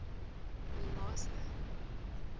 mimosa